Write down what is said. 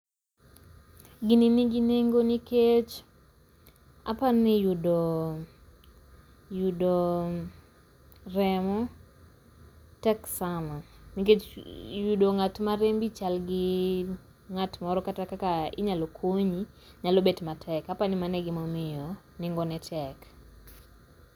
Gini nigi nengo nikeech, apani yudoo, yudoo remo tek sana. Nikech yudo ng'at ma rembi chalgii ng'at moro kata kaka inyalo konyi nyalo bet matek. Apani mano e gima omiyo nengone tek.